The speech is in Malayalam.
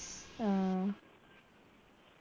ആ